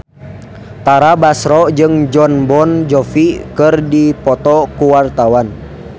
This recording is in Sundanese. Tara Basro jeung Jon Bon Jovi keur dipoto ku wartawan